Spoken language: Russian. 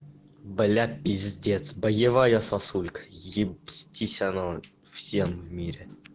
блять пиздец боевая сосулькой ебстись оно всем в мире